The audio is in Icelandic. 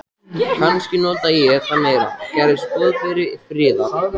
Kannski nota ég það meira, gerist boðberi friðar.